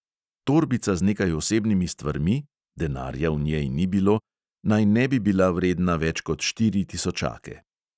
Torbica z nekaj osebnimi stvarmi (denarja v njej ni bilo) naj ne bi bila vredna več kot štiri tisočake.